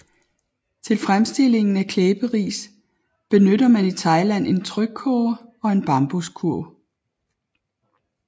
Til fremstillingen af klæberis benytter man i Thailand en trykkoger og en bambuskurv